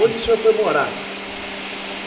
Onde o senhor foi morar?